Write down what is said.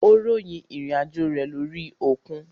Ó ròyìn ìrìn àjò rẹ lórí òkun.